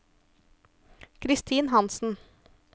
Christin Hanssen